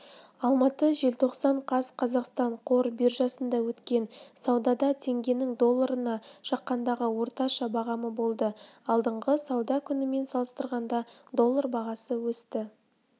алматы желтоқсан қаз қазақстан қор биржасында өткен саудада теңгенің долларына шаққандағы орташа бағамы болды алдыңғы сауда күнімен салыстырғанда доллар бағасы өсті